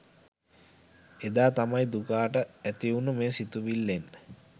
එදා තමයි දුකාට ඇතිවුනු මේ සිතුවිල්ලෙන්